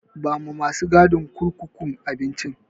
Bawa masu gadin kurkukun abincin.